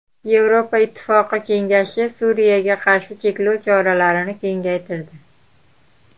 Yevropa Ittifoqi kengashi Suriyaga qarshi cheklov choralarini kengaytirdi.